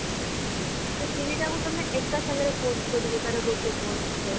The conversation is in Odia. ସେ ତିନିଟାକୁ ତମେ ଏକ ସାଙ୍ଗରେ post କରିବ ତାର ଗୋଟେ post ରେ